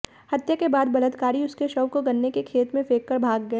हत्या के बाद बलात्कारी उसके शव को गन्ने के खेत में फेंककर भाग गए